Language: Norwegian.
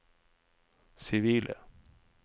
sivile